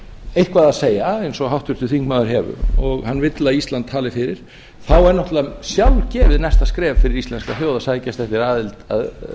eitthvað að segja eins og háttvirtur þingmaður hefur og hann vill að ísland tali fyrir þá er náttúrlega sjálfgefið næsta skref fyrir íslenska þjóð að sækjast eftir aðild að